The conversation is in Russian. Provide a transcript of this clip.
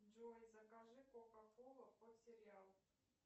джой закажи кока колу под сериал